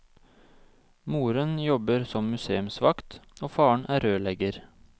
Moren jobber som museumsvakt og faren er rørlegger.